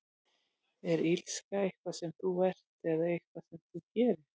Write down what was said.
Er illska eitthvað sem þú ert, eða eitthvað sem þú gerir?